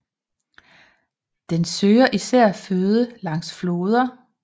Den søger især føde langs floder